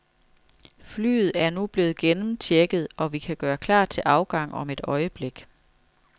Flyet er nu blevet gennemchecket, og vi kan gøre klar til afgang om et øjeblik.